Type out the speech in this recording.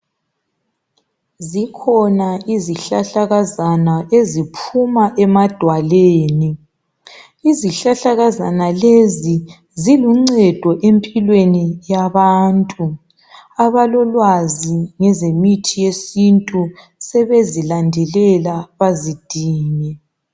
Zikhona izihlahlakazazana eziphuma emadwalweni izihlahlakazana lezi ziluncedo empilweni yabantu abalolwazi ngezemithi yesintu sebezilandelela bazidinge